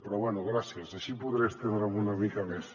però bé gràcies així podré estendre’m una mica més